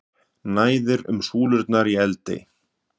Næðir um súlurnar í Eldey